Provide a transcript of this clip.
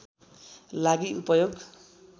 लागि उपयोग